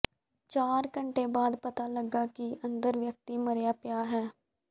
ਚਾਰ ਘੰਟੇ ਬਾਅਦ ਪਤਾ ਲੱਗਾ ਕਿ ਅੰਦਰ ਵਿਅਕਤੀ ਮਰਿਆ ਪਿਆ ਹੈ